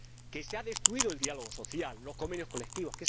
Que se han destruido el diálogo social y los convenios colectivos.